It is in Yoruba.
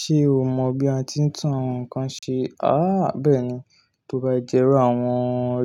Ṣé o mọ bí a ti ń tún àwọn nǹkan ṣe? Àá bẹ́ẹ̀ni. Tó bá jẹ́ ró àwọn